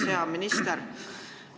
Hea minister!